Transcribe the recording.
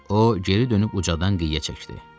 O, geri dönüb ucadan qıyə çəkdi.